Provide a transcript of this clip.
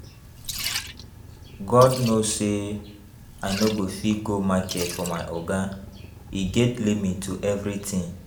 God know say I no go fit go market for my Oga. E get limit to everything